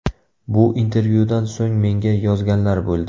Bu intervyudan so‘ng menga yozganlar bo‘ldi.